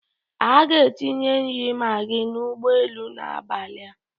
A ga-enye nri maggi n'ụgbọelu n'abalị a